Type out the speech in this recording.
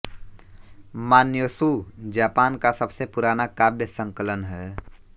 Manyoshu Japan का सबसे पुराना काव्य संकलन है